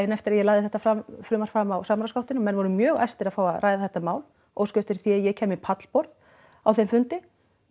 eftir að ég lagði þetta frumvarp fram á samráðsgáttinni og menn voru mjög æstir að fá að ræða þetta mál óskuðu eftir því að ég kæmi í pallborð á þeim fundi